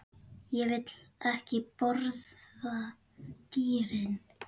Ég vil ekki borða dýrin.